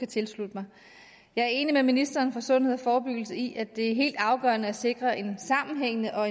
tilslutte mig jeg er enig med ministeren for sundhed og forebyggelse i at det er helt afgørende at sikre en sammenhængende og